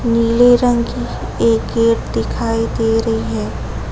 नीले रंग की एक गेट दिखाई दे री है।